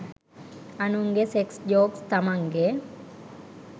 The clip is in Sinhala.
අනුන්ගෙ සෙක්ස් ජෝක්ස් තමන්ගෙ